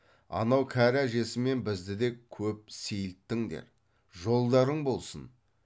анау кәрі әжесі мен бізді де көп сейілттіңдер жолдарың болсын